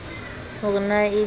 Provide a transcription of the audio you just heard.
ho re na e be